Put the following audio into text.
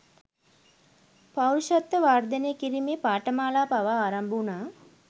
පෞරුෂත්ව වර්ධනය කිරීමේ පාඨමාලා පවා ආරම්භ වුණා